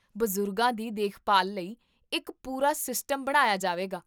ਬਜ਼ੁਰਗਾਂ ਦੀ ਦੇਖਭਾਲ ਲਈ ਇੱਕ ਪੂਰਾ ਸਿਸਟਮ ਬਣਾਇਆ ਜਾਵੇਗਾ